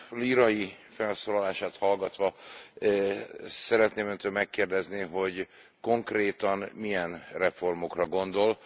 Lírai felszólalását hallgatva szeretném Öntől megkérdezni, hogy konkrétan milyen reformokra gondol?